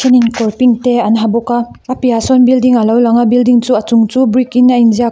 thenin kawr pink te an ha bawk a a piahah sawn building alo lang a building chu a chung chu brick in a in ziak--